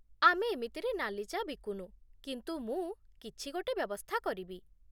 ଆମେ ଏମିତିରେ ନାଲି ଚା' ବିକୁନୁ, କିନ୍ତୁ ମୁଁ କିଛି ଗୋଟେ ବ୍ୟବସ୍ଥା କରିବି ।